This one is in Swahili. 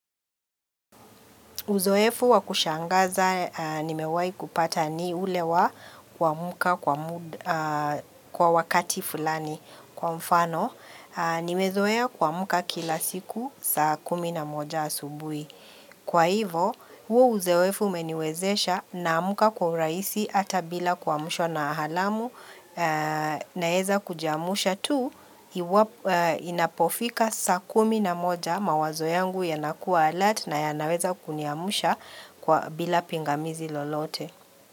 Uzoefu wakushangaza nimewai kupata ni ulewa wa kuamka kwa wakati fulani kwa mfano. Nimezoea kuamka kila siku saa kumi na moja asubui. Kwa hivo, huo uzoefu umeniwezesha na amka kwa uraisi ata bila kuamshwana alamu naweza kujiamusha tu. Inapofika saa kumi na moja mawazo yangu ya nakua alert na yanaweza kuniamsha bila pingamizi lolote.